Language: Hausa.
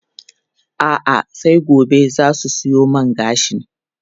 A'a, sai gobe za su siyo man gashin.